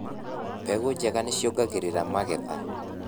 Mbegũ njega nĩciongagĩrĩra magetha.